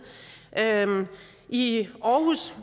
i aarhus